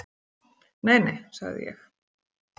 """Nei, nei, sagði ég."""